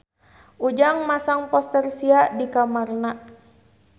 Ujang masang poster Sia di kamarna